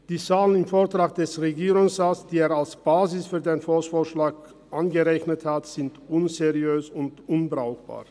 Die Zahlen im Vortrag des Regierungsrats, die er als Basis für den Volksvorschlag berechnet hat, sind unseriös und unbrauchbar.